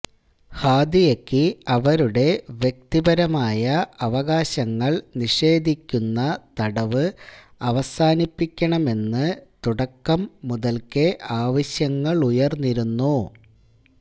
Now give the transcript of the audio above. ഹാദിയക്ക് അവരുടെ വ്യക്തിപരമായ അവകാശങ്ങൾ നിഷേധിക്കുന്ന തടവ് അവസാനിപ്പിക്കണമെന്ന് തുടക്കം മുതൽക്കേ ആവശ്യങ്ങളുയർന്നിരുന്നു